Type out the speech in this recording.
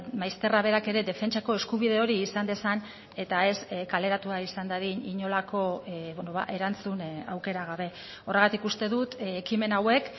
maizterra berak ere defentsako eskubide hori izan dezan eta ez kaleratua izan dadin inolako erantzun aukera gabe horregatik uste dut ekimen hauek